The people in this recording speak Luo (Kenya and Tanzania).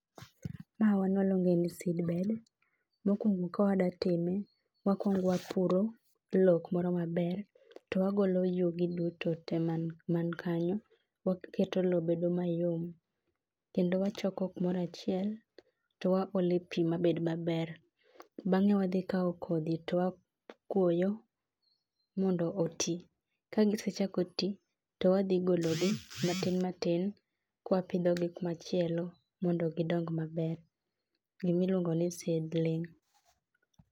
Ma wan waluonge ni [c s] seed bed. Mokuongo ka wadwa time, wakuongo wapuro lowo kumoro maber. To wagolo yugi duto tee man kanyo, kato waketo lowo bedo mayom kendo wachoko kumoro achiel, to waole pi mabed maber. Bang'e wadhi kawo kodhi to wakuoyo mondo oti. Kagisechako ti, to wadhi gologi matin matin, kwapidhogi kuma chielo, mondo gidong maber. Gima iluongo ni seedling.